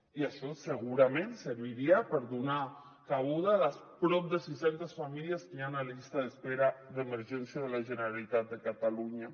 i això segurament serviria per donar cabuda a les prop de sis centes famílies que hi han a la llista d’espera d’emergència de la generalitat de catalunya